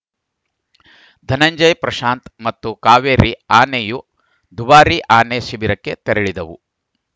ಧನಂಜಯ ಪ್ರಶಾಂತ ಮತ್ತು ಕಾವೇರಿ ಆನೆಯು ದುಬಾರಿ ಆನೆ ಶಿಬಿರಕ್ಕೆ ತೆರಳಿದವು